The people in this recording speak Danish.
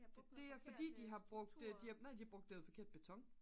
det er fordi nej det er fordi de har brugt noget forkert beton